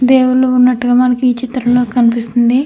దేవుడు ఉన్నట్టుగా మనకి ఈ చిత్రంలో కనిపిస్తుంది.